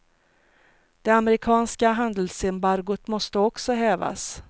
Det amerikanska handelsembargot måste också hävas.